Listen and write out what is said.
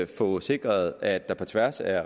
få sikret at der på tværs af